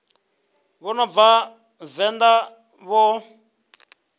vha no bva venḓa vho